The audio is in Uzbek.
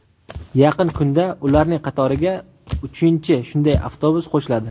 Yaqin kunda ularning qatoriga uchinchi shunday avtobus qo‘shiladi.